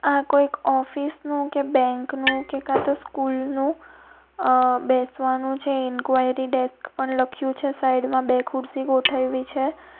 આ કોઈક ઓફિસનું કે બેંકનું કે કા તો સ્કૂલ નું અહ બેસવાનું છે ઇન્કવાયરી ડેસ્ક પણ લખ્યું છે સાઈડ માં બે ખુરશી ગોઠવવી છે.